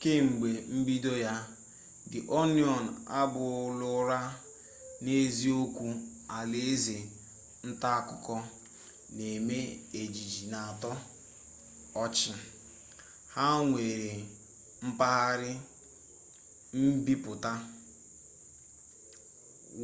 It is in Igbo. kemgbe mbido ya di oniọn abụrụla n'eziokwu alaeze ntaakụkọ na eme ejije n'atọ ọchị ha nwere mpaghara mbipụta